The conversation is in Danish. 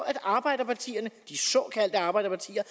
at arbejderpartierne de såkaldte arbejderpartier